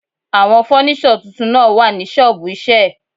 Àwọn fọ́níṣọ̀ tuntun náà wà ní ṣọ́ọ̀bù iṣẹ́ ẹ̀.